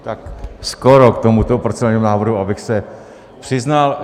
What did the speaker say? Tak skoro k tomuto procedurálnímu návrhu, abych se přiznal.